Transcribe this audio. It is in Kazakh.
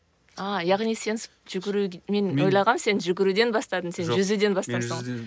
а яғни жүгіру мен ойлағанмын сен жүгіруден бастадың сен жүзуден бастапсың ғой